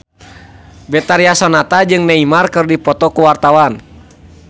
Betharia Sonata jeung Neymar keur dipoto ku wartawan